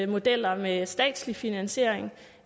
modeller med en statslig finansiering